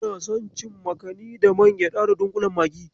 Ina son cin makami da man gyaɗa da dunƙulen magi.